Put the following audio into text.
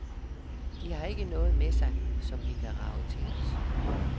De ikke har noget med sig, som vi kan rage til os.